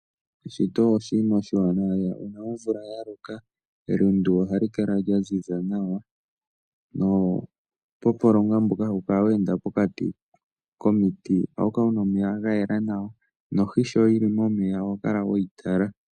Eshito oshinima oshiwanawa lela. Uuna omvula ya loka elundu ohali kala lya ziza nawa nuupompolonga mboka hawu kala we enda pokati komiti ohawu kala wu na omeya ga yela nawa nohi sho yi li momeya oho kala we yi tala.